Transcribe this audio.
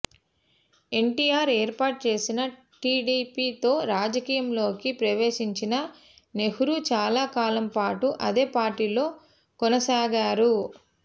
ఎన్టీఆర్ ఏర్పాటు చేసిన టిడిపితో రాజకీయాల్లోకి ప్రవేశించిన నెహ్రూ చాలా కాలం పాటు అదే పార్టీలో కొనసాగారు